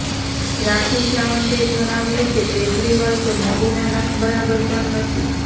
રાખી સાવંતે જણાવ્યું કે કેજરીવાલ તો મોદીના નખ બરાબર પણ નથી